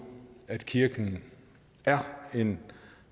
kirken er en